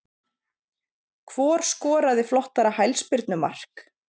Hvor skoraði flottara hælspyrnu mark?